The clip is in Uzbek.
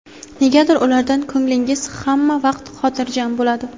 Negadir ulardan ko‘nglingiz hamma vaqt xotirjam bo‘ladi.